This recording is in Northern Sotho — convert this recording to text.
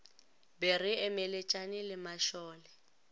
be re emeletšane le mašole